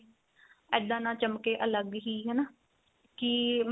ਇੱਦਾਂ ਨਾ ਚਮਕੇ ਅਲੱਗ ਹੀ ਹਨਾ ਕੀ